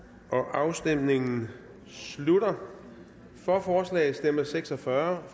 afstemningen slutter for forslaget stemte seks og fyrre